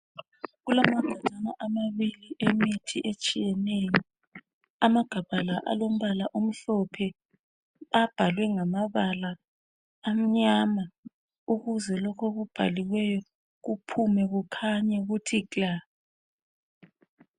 Kulamagajana amabili emithi etshiyeneyo. Amagabha la alombala omhlophe abhalwe ngamabala amnyama ukuze lokho okubhaliweyo kuphume kukhanye kuthi kla.